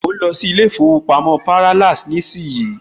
Mo ń lọ sí ilé ìfowópamọ́ Parallax nísìnyí